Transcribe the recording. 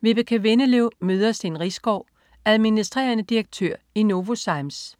Vibeke Windeløv møder Steen Riisgaard, adm.dir. i Novozymes